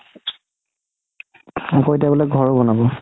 আকৌ এতিয়া বুলে ঘৰ বনাব